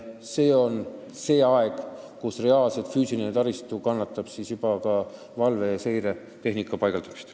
Selle aja jooksul jõutakse nii kaugele, et füüsiline taristu võimaldab juba valve- ja seiretehnika paigaldamist.